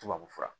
Tubabufura